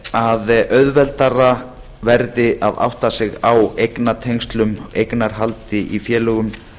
að auðveldara verði að átta sig á eignatengslum eignarhaldi í félögum